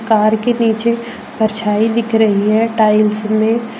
car के नीचे परछाई दिख रही है टाइल्स में--